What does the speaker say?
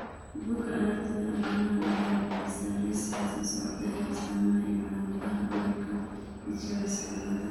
Bugaa aragtida aDdanaha waxay bixisaa liiska soo socda ee astamaha iyo calaamadaha cudurka Michels cilada